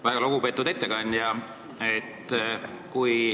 Väga lugupeetud ettekandja!